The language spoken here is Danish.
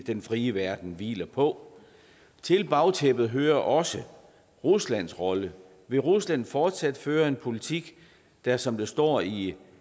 den frie verden hviler på til bagtæppet hører også ruslands rolle vil rusland fortsat føre en politik der som der står i